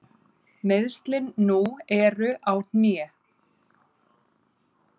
Meiðslin nú eru á hné.